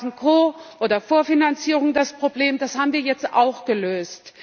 Dann waren Ko oder Vorfinanzierung das Problem, das haben wir jetzt auch gelöst.